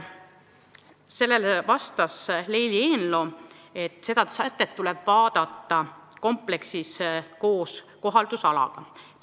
Sellele vastas Leili Eenlo, et seda küsimust tuleb vaadata kompleksis kohaldusalaga.